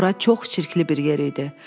Bura çox çirkli bir yer idi.